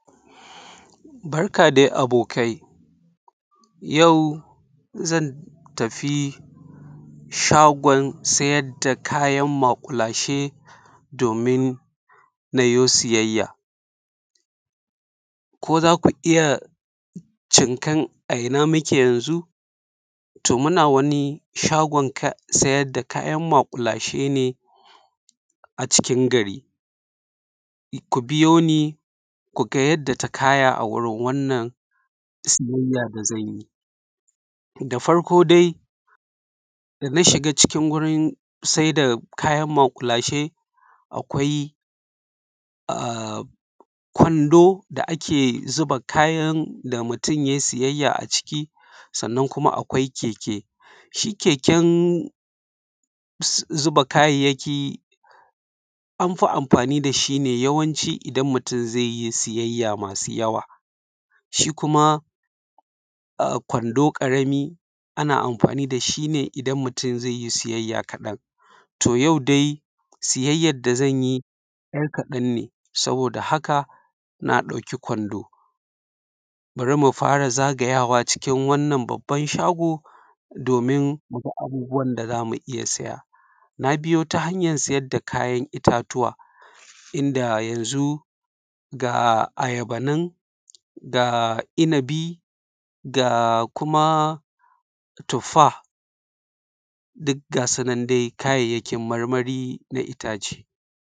Barka dai abokai, Yau zan tafi shagon sayar da kayan maƙulashe, domin na yo sayaya. Ko za ku iya cinkan a ina muke yanzu? To, muna wani shagon sayar da kayan maƙulashe ne a cikin gari. Ku biyoni, ku ga yadda ta kaya a wurin wannan sayaya da zan yi. Da farko dai, da na shiga wurin sayar da kayan maƙulashe, akwai k'wando da ake zuba kayan da mutum ya yi sayaya a ciki. Sannan kuma akwai keke; shi keken zuba kayayaki an fi amfani da shi ne yawanci idan mutum za yi sayaya masu yawa. Shi kuma k'wando ƙarami, ana amfani da shi ne idan mutum za yi sayaya ƙaɗan. To, yau dai sayayan da zan yi ɗan ƙaɗan ne, saboda haka na ɗauki k'wando. Bari mu fara zagayawa cikin wannan babban shagon, domin mu ga abubuwan da za mu sayaya. Na biyo ta hanyar sayar da kayan itatuwa, inda yanzu, ga ayaba nan, ga inabi, ga kuma tuffah, duk ga su nan dai kayayakin marmari na itace.